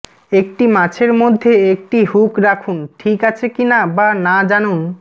একটি মাছের মধ্যে একটি হুক রাখুন ঠিক আছে কিনা বা না জানুন